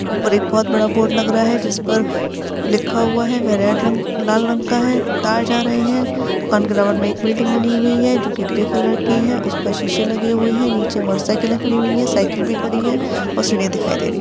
ऊपर एक बहुत बड़ा बोर्ड लग रहा है जिस पर लिखा हुआ है वह रेड रंग लाल रंग का है तार जा रहे हैं दुकान के बराबर में एक बिल्डिंग बनी हुई है जो के ग्रे कलर की है उस पर शीशे लगे हुए हैं नीचे मोटरसाइकिले खड़ी हुई है साइकिल भी खड़ी है और सीढ़ियां दिखाई दे रही हैं।